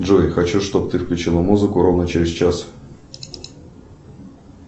джой хочу чтоб ты включила музыку ровно через час